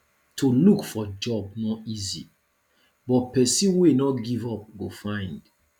to look for job no easy but pesin wey no give up go find